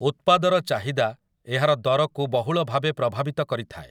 ଉତ୍ପାଦର ଚାହିଦା ଏହାର ଦରକୁ ବହୁଳ ଭାବେ ପ୍ରଭାବିତ କରିଥାଏ ।